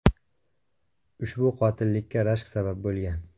Ushbu qotillikka rashk sabab bo‘lgan.